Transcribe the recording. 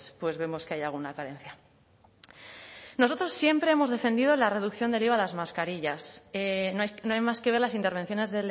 pues vemos que hay alguna carencia nosotros siempre hemos defendido la reducción del iva a las mascarillas no hay más que ver las intervenciones